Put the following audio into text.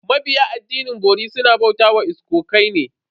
Mabiya addinin bori suna bauta wa iskokai ne.